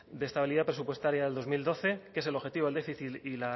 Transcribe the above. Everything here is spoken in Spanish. de estabilidad presupuestaria del dos mil doce que es el objetivo del déficit